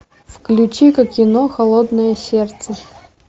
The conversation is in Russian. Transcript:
включи ка кино холодное сердце